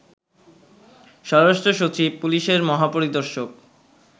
স্বরাষ্ট্রসচিব, পুলিশের মহাপরিদর্শক